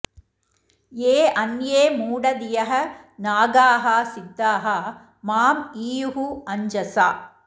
ये अन्ये मूढधियः नागाः सिद्धाः माम् ईयुः अञ्जसा